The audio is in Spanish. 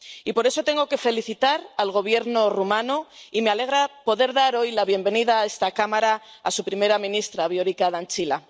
Y por eso tengo que felicitar al Gobierno rumano y me alegra poder dar hoy la bienvenida a esta cámara a su primera ministra, Viorica Dăncilă.